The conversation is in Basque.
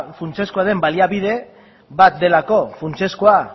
funtsezkoa den baliabide bat delako funtsezkoa